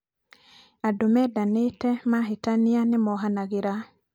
andũ mendanĩte mahĩtanĩa nĩmoohanagĩra